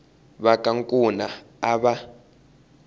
va ka nkuna a va